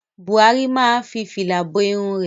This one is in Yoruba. Buhari máa fi fìlà bo irun rẹ̀.